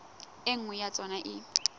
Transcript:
e nngwe ya tsona e